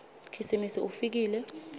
khisimusi ufikile